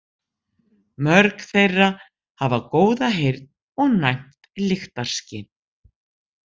Mörg þeirra hafa góða heyrn og næmt lyktarskyn.